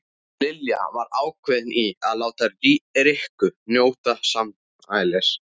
Lilla var ákveðin í að láta Rikku njóta sannmælis.